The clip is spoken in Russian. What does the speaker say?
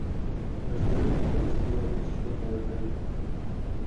расскажи мне про гостевое посещение в отеле